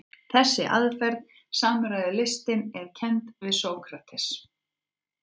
Þessi aðferð, samræðulistin, er kennd við Sókrates.